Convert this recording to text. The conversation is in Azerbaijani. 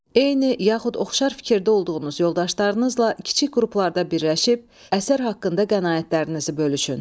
Eyni yaxud oxşar fikirdə olduğunuz yoldaşlarınızla kiçik qruplarda birləşib, əsər haqqında qənaətlərinizi bölüşün.